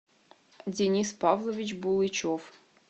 денис павлович булычев